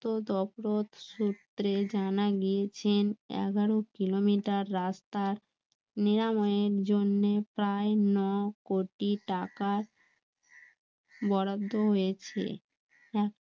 সূত্রে জানা গিয়েছেন এগারো কিলোমিটার রাস্তার জন্যে প্রায় ন কোটি টাকা বরাদ্দ হয়েছে